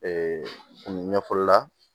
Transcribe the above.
ɲɛfɔli la